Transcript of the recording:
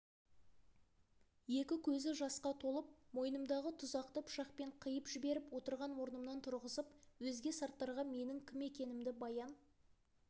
екі көзі жасқа толып мойнымдағы тұзақты пышақпен қиып жіберіп отырған орнымнан тұрғызып өзге сарттарға менің кім екенімді баян